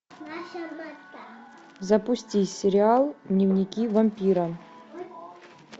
запусти сериал дневники вампира